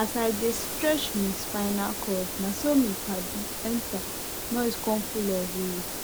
as i dey stretch mi spinal cord naso mi padi enta noise con full everi where